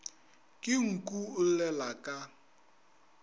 ke nku o llela ka